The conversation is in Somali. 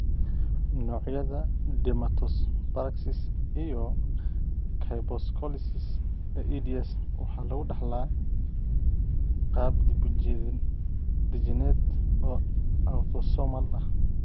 Noocyada dermatosparaxis iyo kyphoscoliosis ee EDS waxaa lagu dhaxlaa qaab dib-u-dejineed oo autosomal ah.